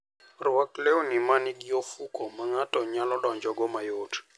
Rwak lewni ma nigi ofuko ma ng'ato nyalo donjogo mayot.